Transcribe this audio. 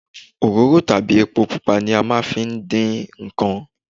Òróró tàbí epo pupa ni a máa ń fi dín nǹkan.